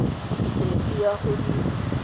pedi go ya go di